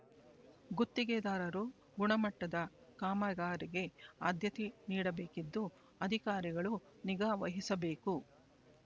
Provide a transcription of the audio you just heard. ಗುತ್ತಿಗೆದಾರರು ಗುಣಮಟ್ಟದ ಕಾಮಗಾರಿಗೆ ಆದ್ಯತೆ ನೀಡಬೇಕಿದ್ದು ಅಧಿಕಾರಿಗಳು ನಿಗಾ ವಹಿಸಬೇಕು